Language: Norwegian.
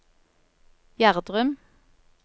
Gjerdrum